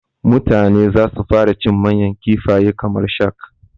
Mutane zasu fara cin manyan kifaye kamar shak